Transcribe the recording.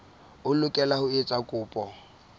o lokela ho etsa kopo